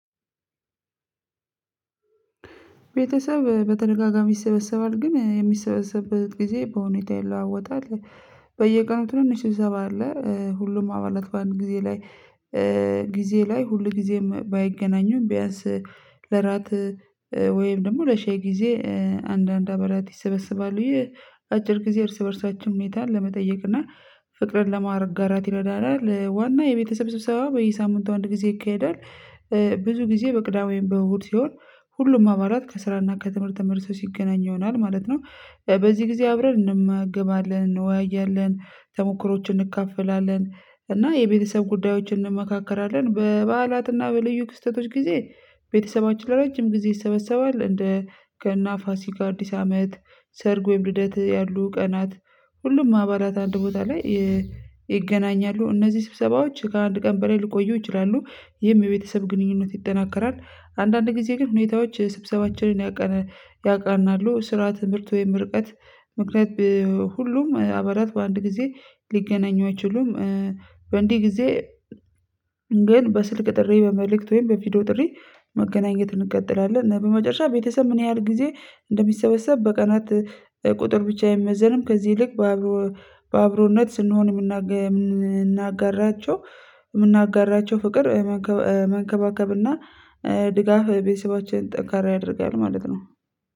ቤተሰብ በተደጋጋሚ ይሰበሰባል ግን የሚሰበሰብበት ጊዜ በሁኔታ ይለዋወጣል። በየቀኑ ትንሽ ስብሰባ አለ ሁሉም አባላት በአንድ ጊዜ ላይ ጊዜ ላይ ሁል ጊዜም ባይገናኙም ቢያንስ ለራት ወይም ደግሞ ለሻይ ጊዜ አንዳንድ አባላት ይሰበስባሉ። ይህ አጭር ጊዜ እርስ በእርሳችን ሁኔታን ለመጠየቅ እና ፍቅርን ለማረጋራት ይረዳናል። ዋና የቤተሰብ ስብሰባ በየሳምንቱ አንድ ጊዜ ይካሄዳል። ብዙ ጊዜ በቅዳሜም በእሁድ ሲሆን ሁሉም አባላት ከስራና ከትምህርት ተመልሰው ሲገናኙ ይሆናል ማለት ነው። በዚህ ጊዜ አብረን እንመገባለን፣ እንወያያለን፣ ተሞክሮዎችን እንካፈላለን እና የቤተሰብ ጉዳዮችን እንመካከራለን በበዓላትና በልዩ ክስተቶች ጊዜ ቤተሰባችን ለረጅም ጊዜ ይሰበሰባል እንደ ገና፣ ፋሲካ፣ አዲስ አመት፣ ሰርግ ወይም ልደት ያሉ ቀናት ሁሉም አባላት አንድ ቦታ ላይ እነዚህ ስብሰባዎች ከአንድ ቀን በላይ ልቆዩ ይችላሉ የቤተሰብ ግንኙነት ይጠናከራል። አንዳንድ ጊዜ ግን ሁኔታዎች ስብሰባችንን ያቀ ያቃናሉ ስራ ትምህርት ወይም ምርቀት ምክንያት ሁሉም አባላት በአንድ ጊዜ ሊገናኙ አይችሉም። በእንዲህ ጊዜ ግን በስልክ ጥሪ በመልእክት ወይም በቪዲዮ ጥሪ መገናኘት እንቀጥላለን እና በመጨረሻ ቤተሰብ ምን ያህል ጊዜ እንደሚሰበሰብ በቀናት ቁጥር ብቻ አይመዘንም ከዚህ ይልቅ በአብሮነት ስንሆን የምናጋራቸው የምናጋራቸው ፍቅር መንከባከብና ድጋፍ ቤተሰባችንን ጠንካራ ያደርጋል ማለት ነው።